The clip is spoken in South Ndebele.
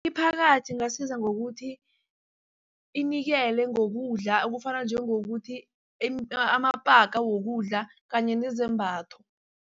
Imiphakathi ingasiza ngokuthi inikele ngokudla ekufana njengokuthi amapaka wokudla kanye nezembatho.